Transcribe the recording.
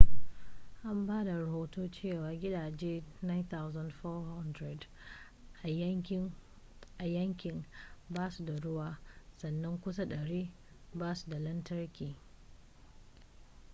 an ba da rohoto cewa gidaje 9400 a yankin ba su da ruwa sannan kusan 100 ba su da lantarki